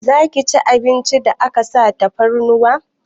Zaki ci abincin da aka sa tafarnuwa?